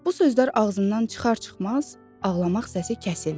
Bu sözlər ağzından çıxar-çıxmaz, ağlamaq səsi kəsildi.